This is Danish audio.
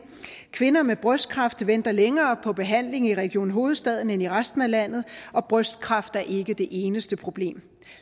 kvinder med brystkræft venter længere på behandling i region hovedstaden end i resten af landet og brystkræft er ikke det eneste problem